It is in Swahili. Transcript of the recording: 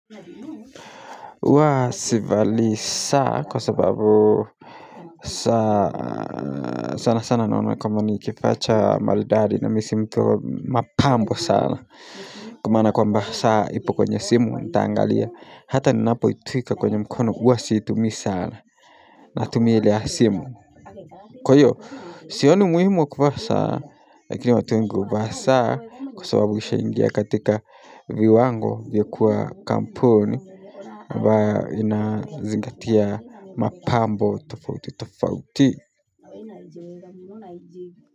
Huwa sivalii saa kwa sababu saa, sana sana naona kwamba ni kifaa cha maridadi na mimi si mtu mapambo sana kwa maana kwamba saa ipo kwenye simu nitaangalia hata ninapoitwika kwenye mkono huwa siitumi sana natumia ile ya simu kwa hiyo sioni umuhimu wa kuvaa saa, lakini watu wengi huvaa saa kwa sababu ishaingia katika viwango vya kuwa kampuni ambayo inazingatia mapambo tofauti tofauti.